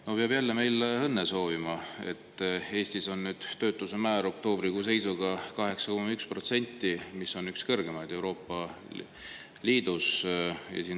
No peab jälle meile õnne soovima: Eestis on töötuse määr oktoobrikuu seisuga 8,1%, mis on üks kõrgeimaid Euroopa Liidus.